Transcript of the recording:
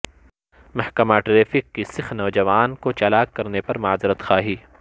محکمہ ٹریفک کی سکھ نوجوان کو چالان کرنے پر معذرت خواہی